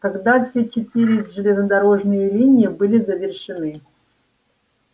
когда все четыре железнодорожные линии были завершены